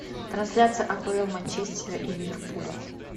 трансляция апл манчестера и ливерпуля